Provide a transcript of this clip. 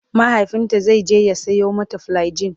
mahaifinta zaije ya Sayo mata flagyl